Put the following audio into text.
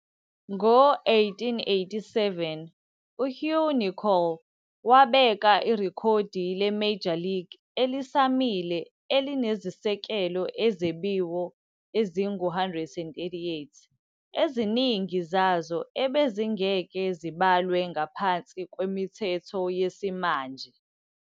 Ngo-1887, uHugh Nicol wabeka irekhodi le-Major League elisamile elinezisekelo ezebiwe ezingu-138, eziningi zazo ebezingeke zibalwe ngaphansi kwemithetho yesimanje.